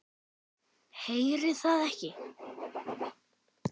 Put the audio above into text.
Heyri það ekki.